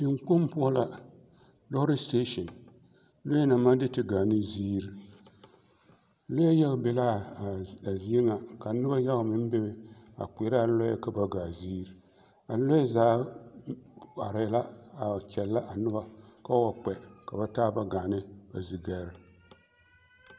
Teŋkpoŋ poɔ la, lɔɔre siteesini, lɔɛ naŋ maŋ de te gaane ziiri, lɔɛ yaga be l'a zie ŋa ka noba yaga mine bebe a kpeɛrɛ a lɔɛ ka ba gaa ziiri a lɔɛ zaa arɛɛ la a kyɛllɛ a noba k'o wa kpɛ ka ba taaba gaa ba zigɛre.